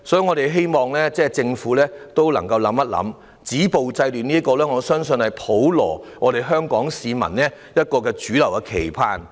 我們希望政府能夠好好思考，我相信"止暴制亂"是香港普羅市民的主流期盼。